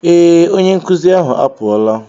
Ee, onye nkụzi ahụ apụọla